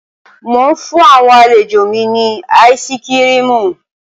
Mò ń fún àwọn àlejò mi ní áìsikirimù